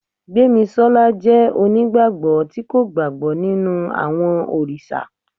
gbemisola jẹ onigbagbọ ti ko gbagbọ ninu awọn oriṣa